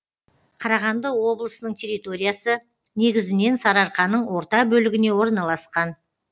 қарағанды облысының территориясы негізінен сарыарқаның орта бөлігіне орналасқан